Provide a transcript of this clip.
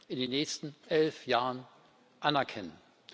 in den nächsten elf Jahren anerkennen.